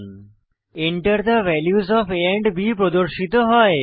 Enter the values of a and b প্রদর্শিত হয়